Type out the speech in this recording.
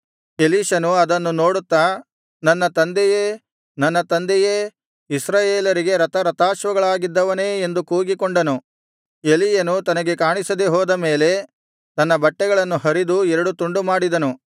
ಎಲೀಷನು ಅದನ್ನು ನೋಡುತ್ತಾ ನನ್ನ ತಂದೆಯೇ ನನ್ನ ತಂದೆಯೇ ಇಸ್ರಾಯೇಲರಿಗೆ ರಥಾರಥಾಶ್ವಗಳಾಗಿದ್ದವನೇ ಎಂದು ಕೂಗಿಕೊಂಡನು ಎಲೀಯನು ತನಗೆ ಕಾಣಿಸದೆ ಹೋದ ಮೇಲೆ ತನ್ನ ಬಟ್ಟೆಗಳನ್ನು ಹರಿದು ಎರಡು ತುಂಡುಮಾಡಿದನು